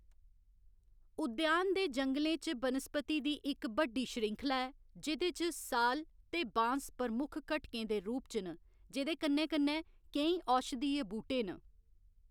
उद्यान दे जंगलें च बनस्पति दी इक बड्डी श्रृंखला ऐ जेह्‌‌‌दे च साल ते बाँस प्रमुख घटकें दे रूप च न जेह्‌दे कन्ने कन्ने केईं औशधीय बूह्‌‌टे न।